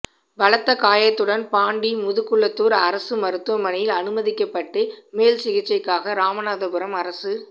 பலத்த காயத்துடன் பாண்டி முதுகுளத்துார் அரசு மருத்துவமனையில்அனுமதிக்கப்பட்டு மேல்சிகிச்சைக்காக ராமநாதபுரம் அரசு